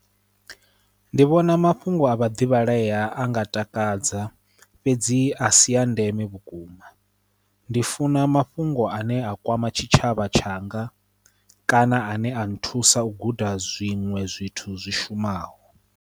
Ndi vhona mafhungo a vhaḓivhalea a nga takadza fhedzi a si ya ndeme vhukuma, ndi funa mafhungo ane a kwama tshitshavha tshanga kana ane a nthusa u guda zwiṅwe zwithu zwi shumaho.